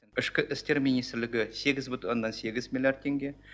ішкі істер министрлігі сегіз бүтін оннан сегіз миллиард теңге